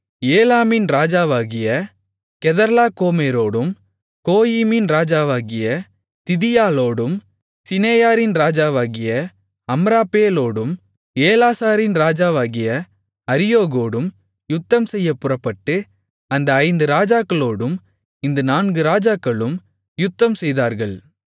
ஏலாமின் ராஜாவாகிய கெதர்லாகோமேரோடும் கோயிமின் ராஜாவாகிய திதியாலோடும் சிநெயாரின் ராஜாவாகிய அம்ராப்பேலோடும் ஏலாசாரின் ராஜாவாகிய அரியோகோடும் யுத்தம்செய்யப் புறப்பட்டு அந்த ஐந்து ராஜாக்களோடும் இந்த நான்கு ராஜாக்களும் யுத்தம் செய்தார்கள்